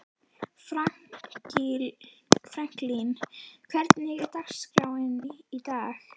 Franklín, hvernig er dagskráin í dag?